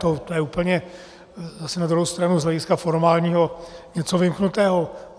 To je úplně zase na druhou stranu z hlediska formálního něco vymknutého.